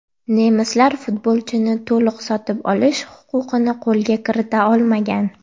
Nemislar futbolchini to‘liq sotib olish huquqini qo‘lga kirita olmagan.